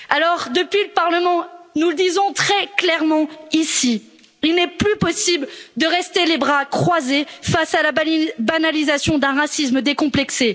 Alors depuis le Parlement, nous le disons très clairement il n'est plus possible de rester les bras croisés face à la banalisation d'un racisme décomplexé.